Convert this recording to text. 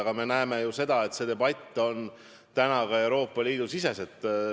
Aga me näeme, et see debatt käib praegu ka Euroopa Liidu sees.